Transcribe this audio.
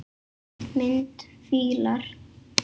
Mynd: Fílar